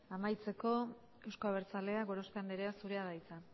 amaitzeko euzko abertzaleak gorospe anderea zurea da hitza